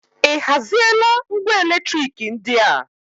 Ị haziela ngwa eletriki ndị a?